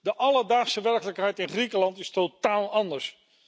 De alledaagse werkelijkheid in Griekenland is totaal anders.